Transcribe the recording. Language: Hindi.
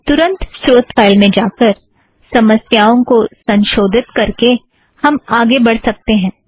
तुरंत स्रोत फ़ाइल में जाकर समस्याओं को संशोधित करके हम आगे बढ़ सकतें हैं